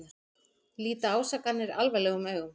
Líta ásakanir alvarlegum augum